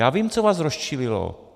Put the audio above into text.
Já vím, co vás rozčílilo.